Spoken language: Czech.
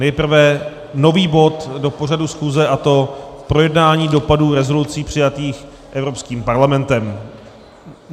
Nejprve nový bod do pořadu schůze, a to projednání dopadů rezolucí přijatých Evropským parlamentem.